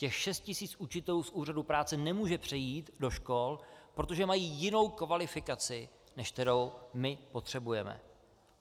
Těch šest tisíc učitelů z úřadu práce nemůže přejít do škol, protože mají jinou kvalifikaci, než kterou my potřebujeme.